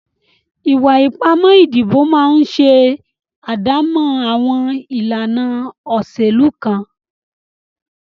Ìwà ipá ìdìbò máa ń ṣe àdámọ́ àwọn ìlànà òṣèlú kan.